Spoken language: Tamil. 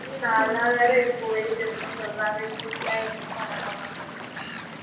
இன்னும் நாலு நாள் வேற இருக்கு வெயில் இருக்கும்னு சொல்லுறங்களோ news ல என்ன பன்ன போறாங்களோ